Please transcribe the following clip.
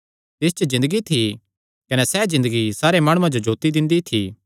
तिस च ज़िन्दगी थी कने सैह़ ज़िन्दगी सारे माणुआं जो जोत्ती दिंदी थी